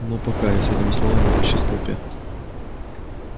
ну пока и с этими словами он исчез в толпе